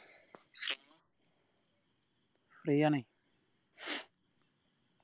free ആണേ